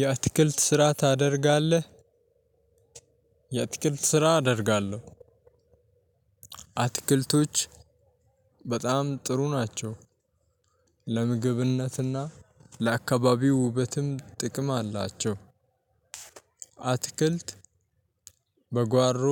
የአትክልት ስራ ታደርጋለህ? የአትክልት ስራ አደርጋለሁ። አትክልቶች በጣም ጥሩ ናቸው። ለምግብነት እና ለ አካባቢ ውበትም ጥቅም አላቸው። አትክልት በጓሮ